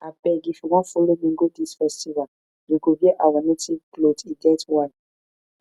abeg if you wan follow me go dis festival you go wear our native cloth e get why